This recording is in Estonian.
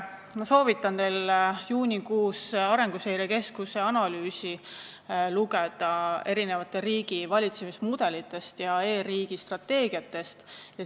Ma soovitan teil lugeda ka juunikuist Arenguseire Keskuse analüüsi riigivalitsemise mudelite ja e-riigi strateegiate kohta.